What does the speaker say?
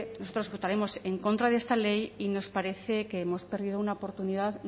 nosotros votaremos en contra de esta ley y nos parece que hemos perdido una oportunidad